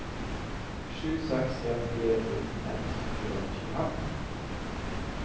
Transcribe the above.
sju seks en fire fjorten ett hundre og tjuefem